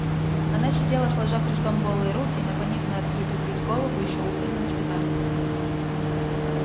она сидела сложа крестом голые руки наклонив на открытую грудь голову ещё убранную цветами